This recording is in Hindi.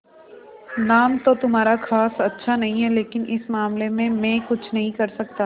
नाम तो तुम्हारा खास अच्छा नहीं है लेकिन इस मामले में मैं कुछ नहीं कर सकता